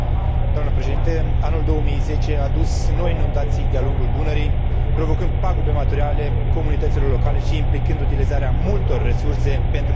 Anul 2010 a adus noi inundații de a lungul Dunării, provocând pagube materiale comunităților locale și implicând utilizarea multor resurse pentru diminuarea efectelor.